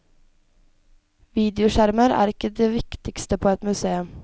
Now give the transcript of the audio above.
Videoskjermer er ikke det viktigste på et museum.